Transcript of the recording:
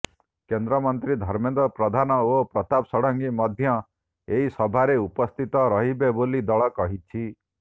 କେନ୍ଦ୍ରମନ୍ତ୍ରୀ ଧର୍ମେନ୍ଦ୍ର ପ୍ରଧାନ ଓ ପ୍ରତାପ ଷଡଙ୍ଗୀ ମଧ୍ୟ ଏହି ସଭାରେ ଉପସ୍ଥିତ ରହିବେ ବୋଲି ଦଳ କହିଛି